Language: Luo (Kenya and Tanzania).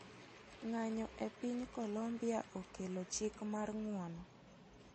Ng'anyo e piny Colombia okelo chik mar ng'uono.